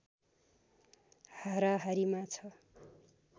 हाराहारीमा छ